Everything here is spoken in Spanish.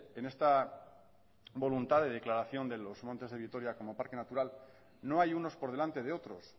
en esta voluntad de declaración de los montes de vitoria como parque natural no hay unos por delante de otros